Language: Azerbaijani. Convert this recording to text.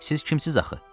Siz kimsiz axı?